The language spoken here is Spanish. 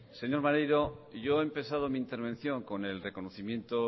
señor maneiro yo he empezado mi intervención con el reconocimiento